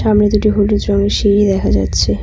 সামনে দুটি হলুদ রঙের সিঁড়ি দেখা যাচ্ছে।